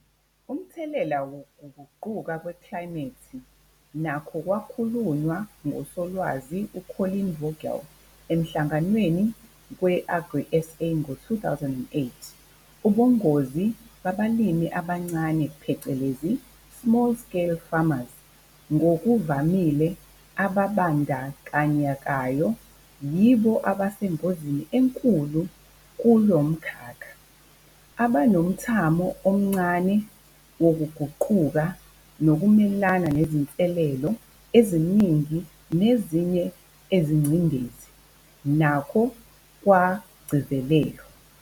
Umthelela wokuguquka kweklayimethi nakho kwakhulunywa nguSolwazi u-Colleen Vogel eMhlanganweni we-AgriSA ngo-2008- Ubungozi babalimi abancane phecelezi i-small-scale farmers, ngokuvamile ababandakanyekayo yibo abasengozini enkulu kulo mkhakha, abanomthamo omncane wokuguquka nokumelana nezinselelo eziningi nezinye izingcindezi, nakho kwagcizelelwa.